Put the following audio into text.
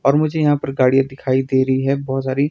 और मुझे यहा पर गाड़ीयां दिखाई दे रही है बहोत सारी।